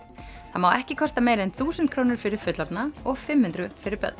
það má ekki kosta meira en þúsund krónur fyrir fullorðna og fimm hundruð fyrir börn